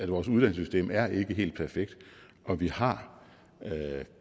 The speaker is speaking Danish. vores uddannelsessystem er ikke helt perfekt og vi har